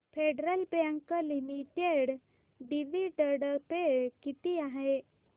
federal bank limited dividend pay किती आहे